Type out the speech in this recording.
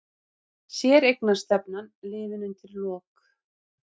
Séreignarstefnan liðin undir lok